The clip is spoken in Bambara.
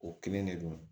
O kelen de don